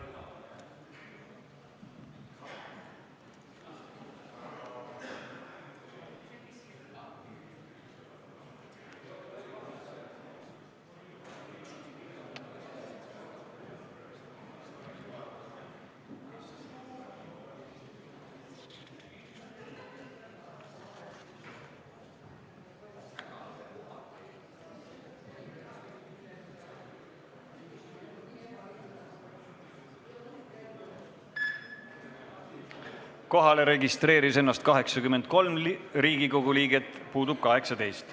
Kohaloleku kontroll Kohalolijaks registreeris ennast 83 Riigikogu liiget, puudub 18.